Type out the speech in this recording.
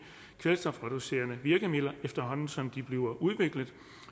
kvælstofreducerende virkemidler efterhånden som de bliver udviklet